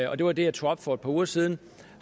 og det var det jeg tog op for et par uger siden